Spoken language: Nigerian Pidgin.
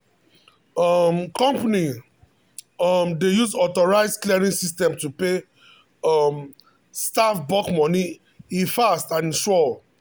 um company um dey use automated clearing system to pay um staff bulk money e fast and sure.